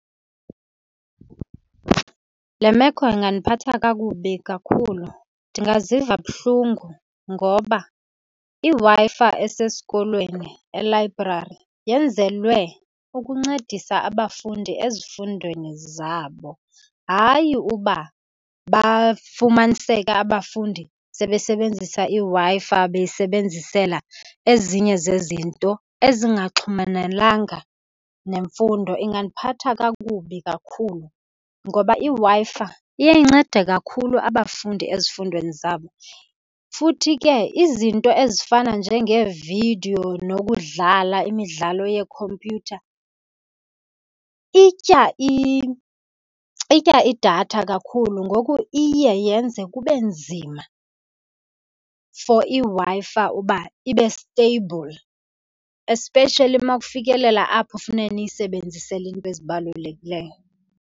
Le meko ingandiphatha kakubi kakhulu. Ndingaziva buhlungu ngoba iWi-Fi esesikolweni elayibrari yenzelwe ukuncedisa abafundi ezifundweni zabo, hayi uba bafumaniseke abafundi sebesebenzisa iWi-Fi beyisebenzisela ezinye zezinto ezingaxhumenelanga nemfundo. Ingandiphatha kakubi kakhulu, ngoba iWi-Fi iye incede kakhulu abafundi ezifundweni zabo. Futhi ke izinto ezifana njengeevidiyo nokudlala imidlalo yeekhompyutha itya , itya idatha kakhulu, ngoku iye yenze kube nzima for iWi-Fi uba ibe steyibhuli, especially uma kufikelela apho funeke niyisebenzisele izinto ezibalulekileyo.